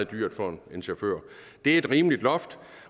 dyrt for en chauffør det er et rimeligt loft